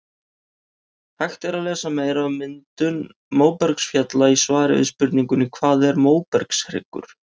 Hægt er að lesa meira um myndun móbergsfjalla í svari við spurningunni Hvað er móbergshryggur?